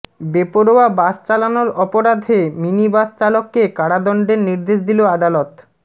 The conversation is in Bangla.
বেপরোয়া বাস চালানোর অপরাধে মিনিবাস চালককে কারাদণ্ডের নির্দেশ দিল আদালত